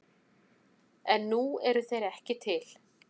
En nú eru þeir ekki til.